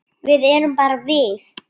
Við erum bara við